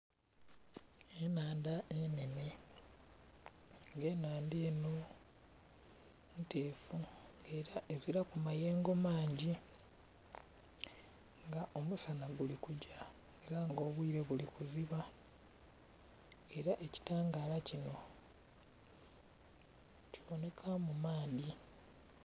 Enhandha nga nnhene nga enhandha enho ntefu nga era eziraku mayengo mangi nga omusana guli kugya era nga obwire buli kuziba era ekitaangala kinho kibonheka mu maadhi.